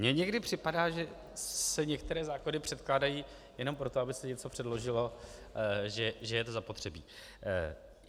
Mně někdy připadá, že se některé zákony předkládají jenom proto, aby se něco předložilo, že je to zapotřebí.